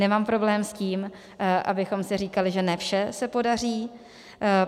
Nemám problém s tím, abychom si říkali, že ne vše se podaří.